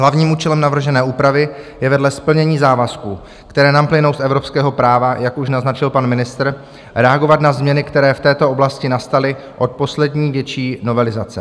Hlavním účelem navržené úpravy je vedle splnění závazků, které nám plynou z evropského práva, jak už naznačil pan ministr, reagovat na změny, které v této oblasti nastaly od poslední větší novelizace.